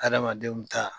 Adamadenw ta